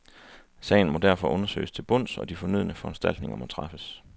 Sagen må derfor undersøges til bunds, og de fornødne foranstaltninger må træffes.